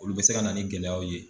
Olu bɛ se ka na ni gɛlɛyaw ye.